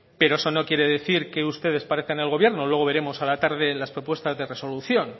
pero eso no quiere decir que ustedes parezcan el gobierno luego veremos a la tarde las propuestas de resolución